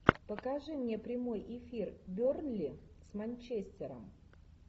покажи мне прямой эфир бернли с манчестером